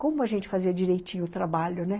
''Como a gente fazia direitinho o trabalho, né?''